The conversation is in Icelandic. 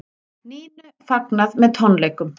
Nínu fagnað með tónleikum